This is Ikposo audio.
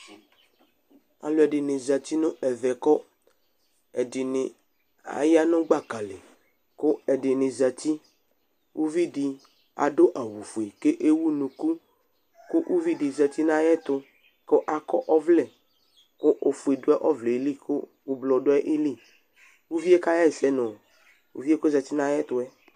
Alu ɛdini zati nu ɛmɛ ku ɛdini aya nu gbaka lɩ, ku ɛdini zeti, uʋɩ di adu awu fue k'ewu'nuku, ku uʋɩ dɩ zeti n'ayɛtu ku akɔ ɔʋlɛ ku ofue du ɔʋlɛ lɩ ku ʊblɔ du ayi lɩ Uʋie ka ɣɛsɛ nu uʋie k'ozati n'ay'ɛtuɛ